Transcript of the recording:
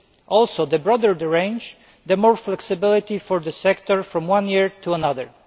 and the broader the range, the more flexibility for the sector from one year to another.